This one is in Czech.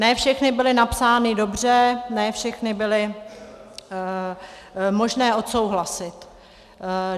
Ne všechny byly napsány dobře, ne všechny byly možné odsouhlasit.